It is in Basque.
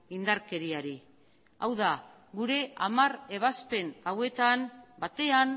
indarkeriari hau da gure hamar ebazpen hauetan batean